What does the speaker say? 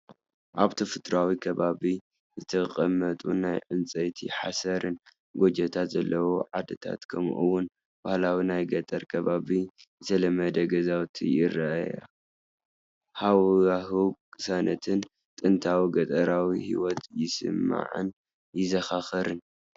ኣብ ተፈጥሮኣዊ ከባቢ ዝተቐመጡ ናይ ዕንጨይትን ሓሰርን ጎጆታት ዘለወን ዓድታት ከምኡ ውን ባህላዊ ናይ ገጠር ከባቢ ዝተለመደ ገዛውቲ ይረኣያ፤ ሃዋህው ቅሳነትን ጥንታዊ ገጠራዊ ህይወትን ይስመዓንን የዘኻኽረንን።